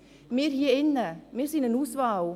Wir hier drin, wir sind eine Auswahl.